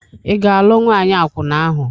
Ị ga-alụ nwaanyị akwụna ahụ?